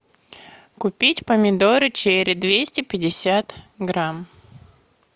купить помидоры черри двести пятьдесят грамм